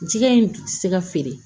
Jɛgɛ in ti se ka feere